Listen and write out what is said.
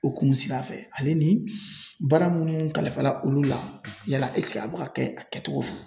O kun sira fɛ ale ni baara minnu kalifa la olu la yala ɛsike a bɛ ka kɛ a kɛcogo fɛ?